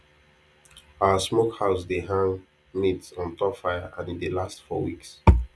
our smokehouse dey hang meat on top fire and e dey last for weeks